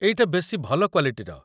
ଏଇଟା ବେଶି ଭଲ କ୍ୱାଲିଟିର ।